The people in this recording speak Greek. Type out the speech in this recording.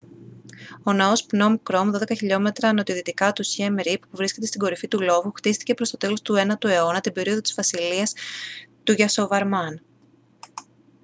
ο ναός πνομ κρομ -12 χιλιόμετρα νοτιοδυτικά του σιέμ ριπ που βρίσκεται στην κορυφή του λόφου χτίστηκε προς το τέλος του 9ου αιώνα την περίοδο της βασιλείας του γιασοβαρμάν